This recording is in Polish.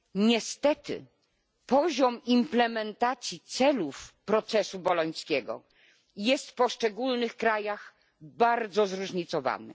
Niestety poziom implementacji celów procesu bolońskiego jest w poszczególnych krajach bardzo zróżnicowany.